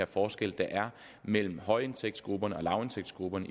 forskel der er mellem højindtægtsgrupperne og lavindtægtsgrupperne